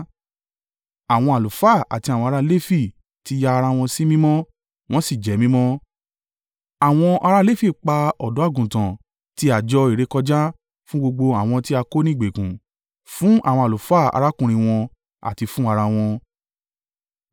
Àwọn àlùfáà àti àwọn ará Lefi ti ya ara wọn sí mímọ́, wọ́n sì jẹ́ mímọ́. Àwọn ará Lefi pa ọ̀dọ́-àgùntàn ti àjọ ìrékọjá fún gbogbo àwọn tí a kó ní ìgbèkùn, fún àwọn àlùfáà arákùnrin wọn àti fún ara wọn.